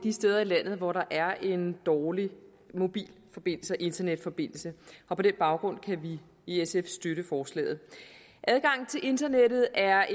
de steder i landet hvor der er en dårlig mobilforbindelse og internetforbindelse og på den baggrund kan vi i sf støtte forslaget adgangen til internettet er